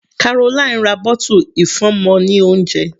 Caroline ra bottle ìfúnọmọ ní oúnjẹ.